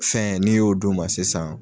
Fɛn n'i y'o d'u ma sisan